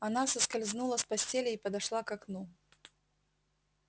она соскользнула с постели и подошла к окну